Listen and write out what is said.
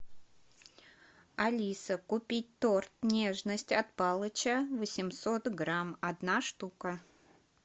алиса купить торт нежность от палыча восемьсот грамм одна штука